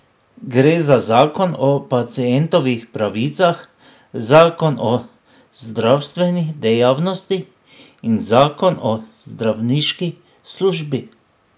Gre za zakon o pacientovih pravicah, zakon o zdravstveni dejavnosti in zakon o zdravniški službi.